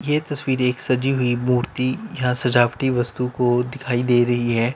ये तस्वीर एक सजी हुई मूर्ति या सजावटी वस्तु को दिखाई दे रही है।